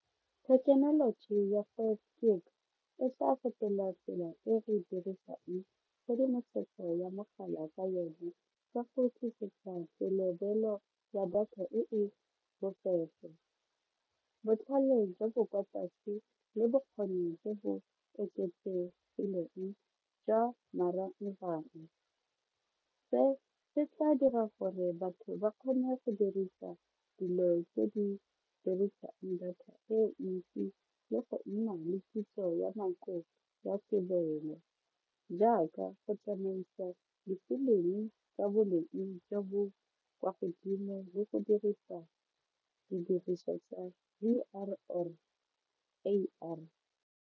Thekenoloji ya five G e sa fetola tsela e re dirisang tshedimosetso ya mogala ka yone ka go selebelo ya data e e bofefo. Botlhale jwa bo kwa tlase le bokgoni jo bo oketsegileng jwa marangrang se se tla dira gore batho ba kgone go dirisa dilo tse di dirisang data e ntsi le go nna le kitso ya nako ya jaaka go tsamaisa difilimi tsa boleng jo bo kwa godimo bo go dirisa didiriswa tsa U_R_L A_I.